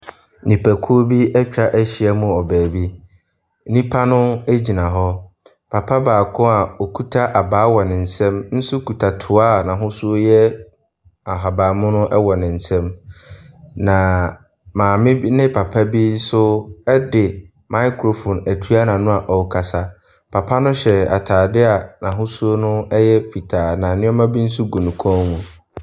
Nnipakuo bi ɛtwahyia mu wɔ baabi. Nnipa no egyina hɔ. Papa baako a ɔkuta abaa wɔ ne nsam nso kuta toa a n'ahosuo yɛ ahaban mono ɛwɔ ne nsam. Na maame bi ne papa bi nso ɛde micriphone ɛtua n'ano a ɔrekasa. Papa no hyɛ ataadeɛ n'ahosuo no ɛyɛ fitaa na nneema bi nso gu ne kɔn mu.